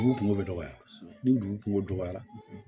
Dugu kungo bɛ dɔgɔya ni dugu kunko dɔgɔyara